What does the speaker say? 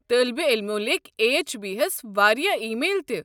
طٲلب علمو لیٚکھۍ اٮ۪چ اے بی ہس واریاہ ای میل تہِ۔